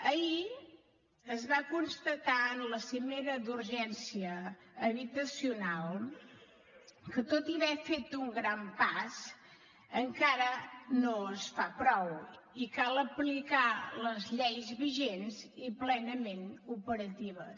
ahir es va constatar en la cimera d’urgència habitacional que tot hi haver fet un gran pas encara no es fa prou i cal aplicar les lleis vigents i plenament operatives